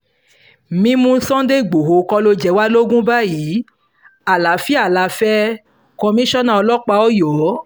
mímú sunday igbodò kọ́ ló jẹ wá lógún báyìí àlàáfíà la fẹ́ komisanna ọlọ́pàá ọyọ́